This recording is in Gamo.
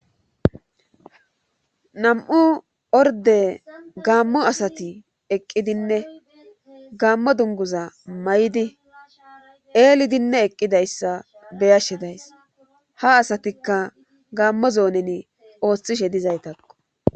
nam'u orde gaammo asati eqqidinne gaammo dunguza may7di eelidinne eqqidayssa beyashe days ha asatikka gaammo zoonen ooththishe dizaytakko